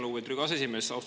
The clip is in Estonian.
Lugupeetud Riigikogu aseesimees!